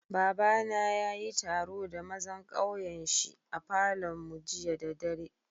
Baba na ya yi taro da mazan kauyen shi a Falo'n mu jiya da dare.